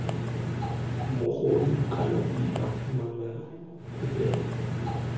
mogodu kana mpa mala popelo